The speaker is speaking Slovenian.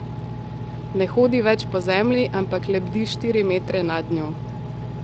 Ne hodi več po zemlji, ampak lebdi štiri metre nad njo.